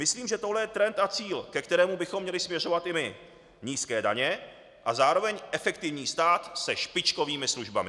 Myslím, že tohle je trend a cíl, ke kterému bychom měli směřovat i my - nízké daně a zároveň efektivní stát se špičkovými službami.